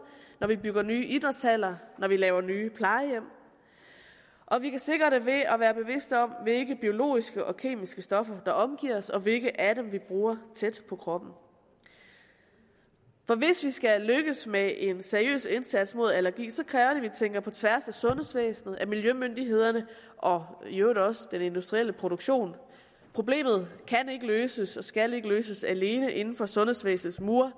når vi bygger nye idrætshaller når vi laver nye plejehjem og vi kan sikre det ved at være bevidste om hvilke biologiske og kemiske stoffer der omgiver os og hvilke af dem vi bruger tæt på kroppen for hvis vi skal lykkes med en seriøs indsats mod allergi så kræver det at vi tænker på tværs af sundhedsvæsenet af miljømyndighederne og i øvrigt også af den industrielle produktion problemet kan ikke løses og skal ikke løses alene inden for sundhedsvæsenets mure